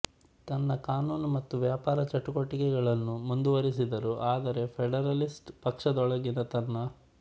ತನ್ನ ಕಾನೂನು ಮತ್ತು ವ್ಯಾಪಾರ ಚಟುವಟಿಕೆಗಳನ್ನು ಮುಂದುವರೆಸಿದರು ಆದರೆ ಫೆಡರಲಿಸ್ಟ್ ಪಕ್ಷದೊಳಗಿನ ತನ್ನ